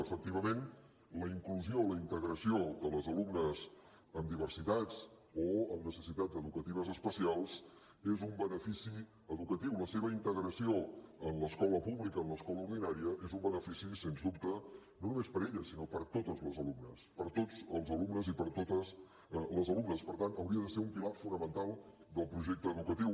efectivament la inclusió la integració de les alumnes amb diversitats o amb necessitats educatives especials és un benefici educatiu la seva integració en l’escola pública en l’escola ordinària és un benefici sens dubte no només per elles sinó per totes les alumnes per tots els alumnes i per totes les alumnes i per tant hauria de ser un pilar fonamental del projecte educatiu